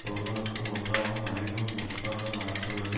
ஒருவனுக்கு உண்டாகும் அறிவு முற்பட மனித்துள்ளது